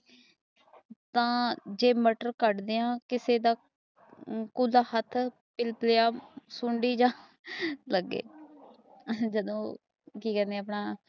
ਜੇ ਮਟਰ ਕੱਢਦੀਆਂ ਕਿਸੇ ਦਾ ਕੁਲਾ ਹੱਥ ਕਿਰਪੀਆ ਲਗੇ ਜਹਾਦੋ ਕੇ ਕਦੇ ਹਾਂ ਆਪਣਾ